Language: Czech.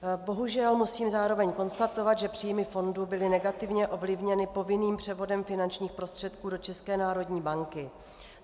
Bohužel musím zároveň konstatovat, že příjmy fondu byly negativně ovlivněny povinným převodem finančních prostředků do České národní banky.